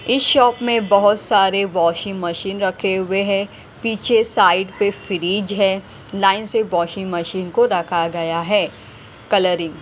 इस शॉप में बहुत सारे वॉशिंग मशीन रखे हुए हैं पीछे साइड पे फ्रिज है लाइन से वाशिंग मशीन को रखा गया है कलरिंग ।